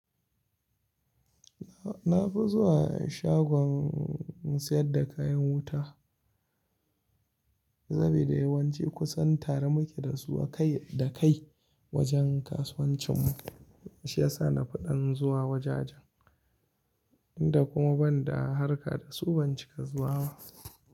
Na fi zuwa shagon sayar da kayan wuta, sabida yawanci kusan tare muke da su a kai da kai wajen kasuwancin mu. Shiyasa na fiɗan zuwa wajajen, inda kuma ban da harka da su, ban cika zuwa ba.